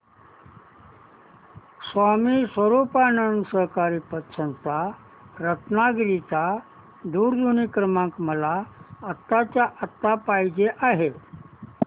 स्वामी स्वरूपानंद सहकारी पतसंस्था रत्नागिरी चा दूरध्वनी क्रमांक मला आत्ताच्या आता पाहिजे आहे